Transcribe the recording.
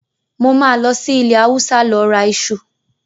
Mo máa lọ sí ilẹ́ Hausa lọ ra iṣu.